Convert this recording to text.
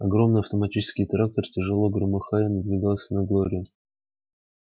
огромный автоматический трактор тяжело громыхая надвигался на глорию